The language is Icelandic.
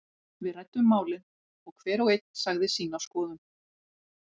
Við ræddum málin og hver og einn sagði sína skoðun.